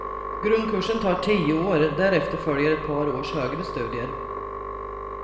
Grundkursen tar tio år, därefter följer ett par års högre studier.